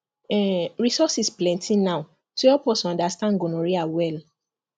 um resources plenty now to help us understand gonorrhea well